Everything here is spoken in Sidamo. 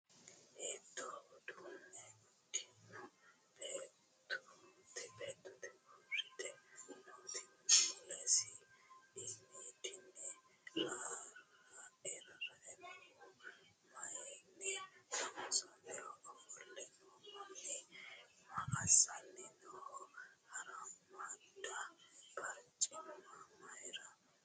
Hiittoo uduunne uddidhino beettooti uurrite nooti? Mulese iimiidinni rarrae noohu maayinni loonsoonniho? Ofolle noo manni maa assanni nooho? Harammaadda barcimma maayinni loonsoonnite?